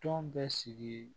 Tɔn bɛ sigi